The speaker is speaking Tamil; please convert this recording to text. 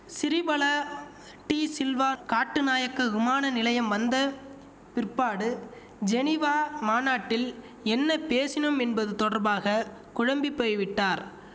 சிறிபல டி சில்வா கட்டுநாயக்க விமான நிலையம் வந்த பிற்பாடு ஜெனிவா மாநாட்டில் என்ன பேசினோம் என்பது தொடர்பாக குழம்பி போய்விட்டார்